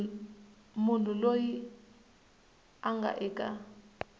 munhu loyi a nga eka